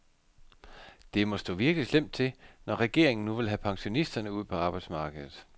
Det må stå virkelig slemt til, når regeringen nu vil have pensionisterne ud på arbejdsmarkedet.